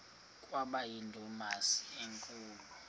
kwaba yindumasi enkulu